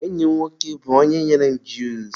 enyi m nwoke bụ onye nyere m juusu.